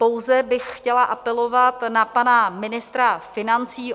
Pouze bych chtěla apelovat na pana ministra financí.